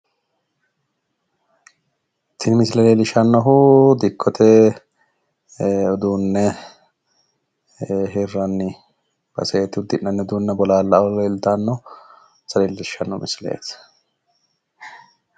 tini misile leellishshanohu dikkote uduunne hirrani baseeti uddi'nanni udiinne bolaallaoo leeltannota leellishshano misileeti yaate.